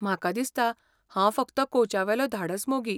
म्हाका दिसता हांव फकत कोचावेलो धाडस मोगी!